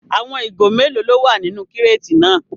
Àwọn ìgò mélòó ló wà nínú kíràtì náà?